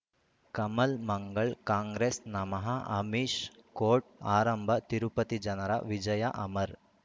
ಕಮಲ್ ಮಂಗಳ್ ಕಾಂಗ್ರೆಸ್ ನಮಃ ಅಮಿಷ್ ಕೋರ್ಟ್ ಆರಂಭ ತಿರುಪತಿ ಜನರ ವಿಜಯ ಅಮರ್